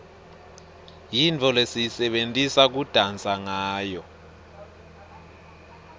yintfo lesiyisebentisa kudansa ngawo